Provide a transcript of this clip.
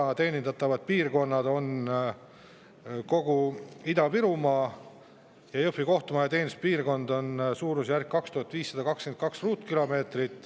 Selle teenindatav piirkond on kogu Ida-Virumaa, suurusjärgus 2522 ruutkilomeetrit.